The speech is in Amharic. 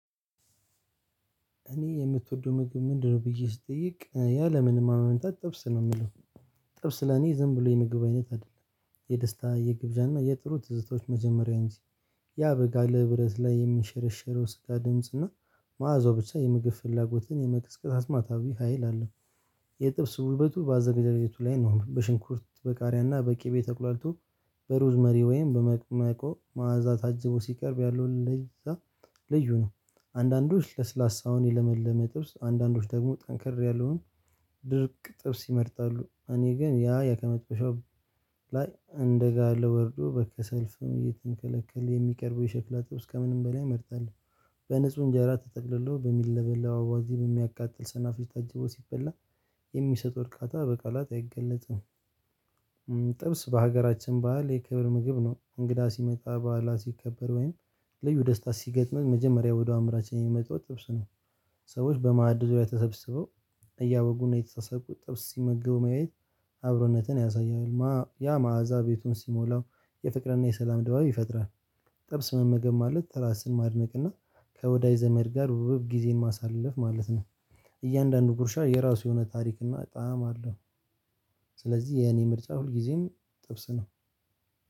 እኔ የምትወደው ምግብ ምንድነው ብዬ ስጠይቅ ያ ለምንም ማመንታት ጥብስ ነው የምለው። ጥብስ ለኔ ዝም ብሎ የምግብ አይነት አይደለም የደስታ የግብዣ እና የጥሩ ትዝታዎች መጀመሪያ እንጂ ያ በጋ ብረት ላይ የሚሸረሸረው ስጋ ድምጽ እና መዓዛው ብቻ የምግብ ፍላጎትን የመቅስቀስ አስማታዊ ሀይል አለው። የጥብስ ውበቱ ባዘገጃጀቱ ላይ ነው በሽንኩርት በቃሪያ እና በቂቤ ተቁሏልቶ በሩዝ መሪ ወይም በመቅመቆ መዓዛ ታጅቦ ሲቀርብ ያለው ለዛ። ልዩ ነው። አንዳንዶች ለስላሳውን የለመለመ ጥብስ አንዳንዶች ደግሞ ጠንከር ያለውን ድርቅ ጥብስ ይመርጣሉ እኔ ግን ያ ላይ እንደጋለ ወርዶ በከሰል ፍም እየተንከለከለ የሚቀርበው የሸክላ ጥብስ ከምንም በላይ እመርጣለሁ። በንጹህ እንጀራ ተጠቅልሎ በሚለበለበው አዋዜ በሚያቃጥል ሰናፍጭ ታጅቦ ሲበላ የሚሰው እርካታ በቃላት አይገለጽም። ጥብስ በሀገራችን ባህል የክብር ምግብ ነው እንግዳ ሲመጣ ባዓላት ሲከበር ወይም ልዩ ደስታ ሲገጥመን መጀመሪያ ወደ አምራችን የሚመጣው ጥብስ ነው። ሰዎች በማዕዱ ዙሪያ ተሰብስበው እያወጉና የተሳሰቁ ጥብስ ሲመገቡ ማየት አብሮነትን ያሳያል ያ መዓዛ ቤቱን ሲሞላው የፍቅርና የሰላም ደባብ ይፈጥራል። ጥብስ መመገብ ማለት ራስን ማድነቅ እና ከወዳጅ ዘመድ ጋር ውብብ ጊዜን ማሳለፍ ማለት ነው። እያንዳንዱ ጉርሻ የራሱ የሆነ ታሪክ እና ጣዕም አለው። ስለዚህ የኔ ምርጫ ሁልጊዜም ጥብስ ነው።